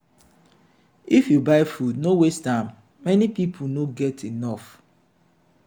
if you buy food no waste am many people no get enough.